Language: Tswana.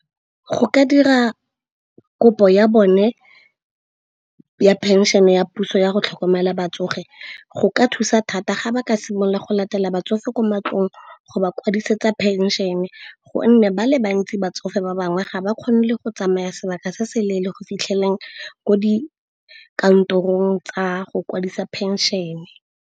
Go ka dira kopo ya bone ya phenšhene ya puso yago tlhokomela batsofe. Go ka thusa thata ga ba ka simolola go latelela batsofe kwa matlong go ba kwadisetsa phenšene, gonne ba le bantsi batsofe ba bangwe ga ba kgone le go tsamaya sebaka se se leele go fitlheleleng ko dikantorong tsa go kwadisa phenšene.